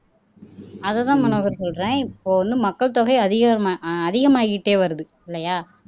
அதுதான் மனோகர் சொல்றேன் இப்ப வந்து மக்கள் தொகை அதிகம அதிகமாகிட்டே வருது இல்லையா